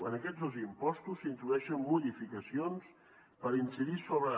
en aquests dos impostos s’introdueixen modificacions per incidir sobre